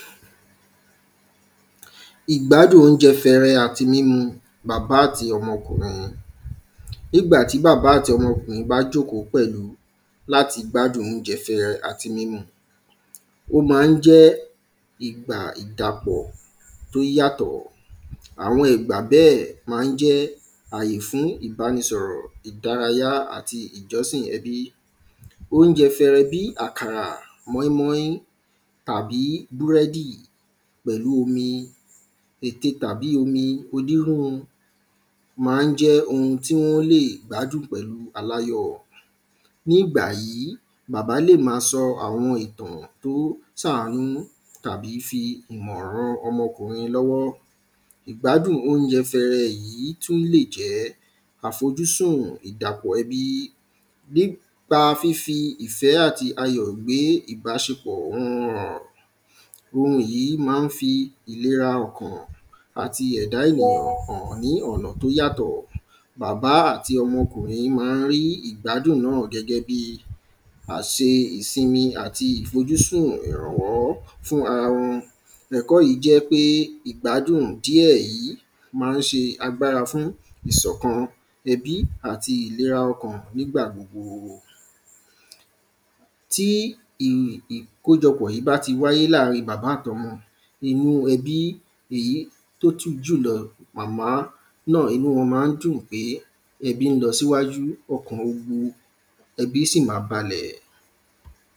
ìgbádùn oúnjẹ fẹẹrẹ àti mímu bàbá àti ọmọkùnrin, ní ìgbàtí bàbá àti ọmọkùnrin bá jókòó pẹ̀lú láti gbádun oúnjẹ fẹẹrẹ àti mímu ó ma ń jẹ́ ìgbà ìdàpọ̀ tó yàtọ̀ àwọn ìgbà bẹ́ẹ̀ ma ń jẹ́ àyè fún ìbánisọ̀rọ̀, ìdárayá, àti ìjọsìn ẹbí óúnjẹ fẹẹrẹ bíi àkàrà, mọ́í-mọ́í, àbí búrẹ́dì, pẹ̀lú omi ète tàbí onírú ma ń jẹ́ ohun tí wọ́n lè gbádùn pẹ̀lu aláyọ̀ ní ìgbà yìí, bàbá lè máa sọ àwọn ìtàn tó ṣàánú tàbí fi ìmọ̀ ran ọmọkùnrin lọ́wọ́ ìgbádùn oúnjẹ fẹẹrẹ tún lè jẹ́ àfọjúsùn ìdàpọ̀ ẹbí, nípa fífi ìfẹ́ àti ayọ̀ gbé ìbáṣepọ̀ òhun hàn ohun yìí ma ń fi ìlera ọkàn àti ẹ̀dá ènìyàn hàn ní ọ̀nà tí ó yàtọ̀, bàbá àti ọmọkùnrin yìí ma ń rí ìgbádùn náà gẹ́gẹ́ bí a ṣe ìsinmi àti ìfojúsùn ìrànwọ́ fún ara wọn ẹ̀kọ́ yìí jẹ́ pé ìgbádùn díẹ̀ yìí ma ń ṣe agbára fún ìsọ̀kan ẹbí àti ìlera ọkàn nígbà gbogbo ti ìkójọpọ̀ yìí bá ti wáyé lárì ín bàbá àti ọmọ inú ẹbí èyí tó tún jùlọ, màmá inú wọn ma ń dùn pé ẹbí lọ síwáju, ọkàn ẹbí si máa balẹ̀